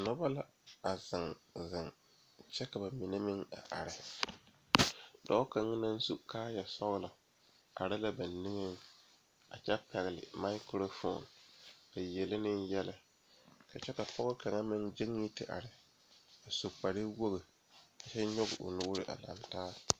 Dɔɔba bayi ane pɔgeba bayi la a laŋ zeŋ a dɔɔ kaŋ naŋ seɛ traza pelaa pegle la gane o nu poɔ ane magdalee a pɔge kaŋa meŋ zeŋ la koo niŋe soga ba saa kyɛ kaa dɔɔ kaŋa ane a pɔge kaŋa gyan yizeŋ.